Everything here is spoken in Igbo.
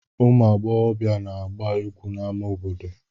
Ụmụ agbọghọbịa na-agba egwu n'amá obodo.